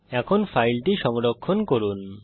এখন ফাইলটি সংরক্ষণ করুন